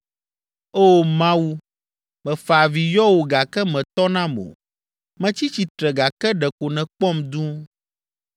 “O Mawu, mefa avi yɔ wò gake mètɔ nam o, metsi tsitre gake ɖeko nèkpɔm dũu.